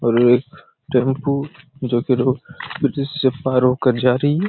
और एक टैम्पू जो की रोड ब्रीज से पार होकर जा रही है।